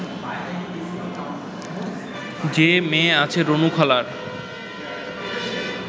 যে মেয়ে আছে রুনুখালার